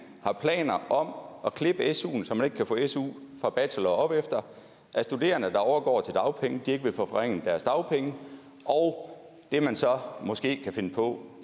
har planer om at klippe suen så man ikke kan få su fra bachelor og opefter at studerende der overgår til dagpenge ikke vil få forringet deres dagpenge og det man så måske kan finde på